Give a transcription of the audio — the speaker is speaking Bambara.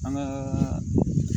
An ka